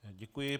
Děkuji.